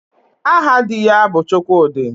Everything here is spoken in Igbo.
Aha di ya bụ Chukwudị